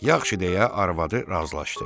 Yaxşı deyə arvadı razılaşdı.